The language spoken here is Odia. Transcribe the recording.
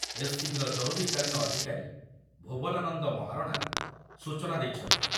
ଏସ୍.ସି.ବି. ର ଜରୁରୀକାଳୀନ ଅଧିକାରୀ ଭୁବନାନନ୍ଦ ମହାରଣା ସୂଚନା ଦେଇଛନ୍ତି ।